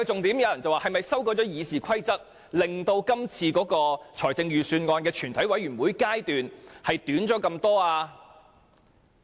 有人問，是否因為修改了《議事規則》，致使今次預算案全委會審議階段大大縮短了呢？